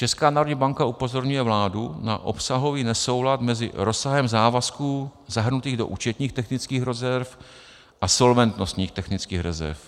Česká národní banka upozorňuje vládu na obsahový nesoulad mezi rozsahem závazků zahrnutých do účetních technických rezerv a solventnostních technických rezerv.